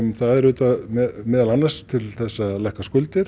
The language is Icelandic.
það er meðal annars til að lækka skuldir